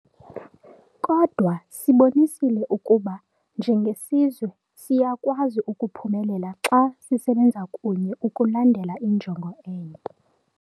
Kodwa sibonisile ukuba, njengesizwe, siyakwazi ukuphumelela xa sisebenza kunye ukulandela injongo enye.